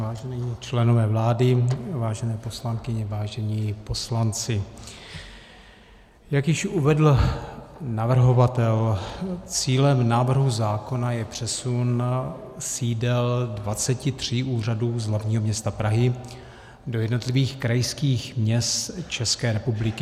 Vážení členové vlády, vážené poslankyně, vážení poslanci, jak již uvedl navrhovatel, cílem návrhu zákona je přesun sídel 23 úřadů z hlavního města Prahy do jednotlivých krajských měst České republiky.